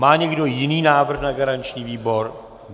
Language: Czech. Má někdo jiný návrh na garanční výbor?